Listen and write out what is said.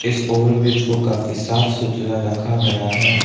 इस over bridge को काफी साफ सुथरा रखा गया है।